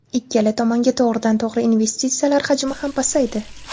Ikkala tomonga to‘g‘ridan to‘g‘ri investitsiyalar hajmi ham pasaydi.